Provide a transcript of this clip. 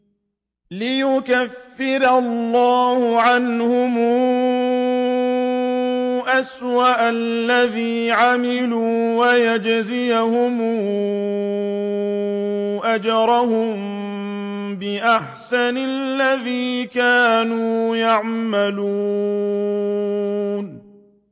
لِيُكَفِّرَ اللَّهُ عَنْهُمْ أَسْوَأَ الَّذِي عَمِلُوا وَيَجْزِيَهُمْ أَجْرَهُم بِأَحْسَنِ الَّذِي كَانُوا يَعْمَلُونَ